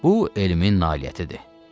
Bu elmin nailiyyətidir.